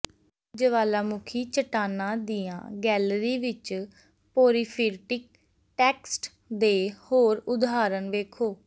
ਜਵਾਲਾਮੁਖੀ ਚੱਟਾਨਾਂ ਦੀਆਂ ਗੈਲਰੀ ਵਿਚ ਪੋਰੀਫਿਰਟਿਕ ਟੈਕਸਟ ਦੇ ਹੋਰ ਉਦਾਹਰਣ ਵੇਖੋ